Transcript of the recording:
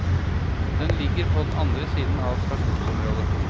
Den ligger på den andre siden av stasjonsområdet.